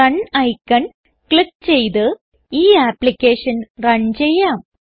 run icon click ചെയ്ത് ഈ application run ചെയ്യാം